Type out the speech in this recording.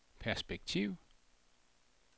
perspektiv